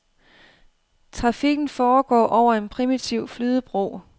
Trafikken foregår over en primitiv flydebro.